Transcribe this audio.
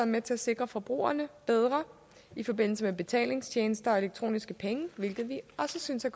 med til at sikre forbrugerne bedre i forbindelse med betalingstjenester og elektroniske penge hvilket vi også synes er